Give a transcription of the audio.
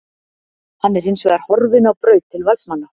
Hann er hinsvegar horfinn á braut til Valsmanna.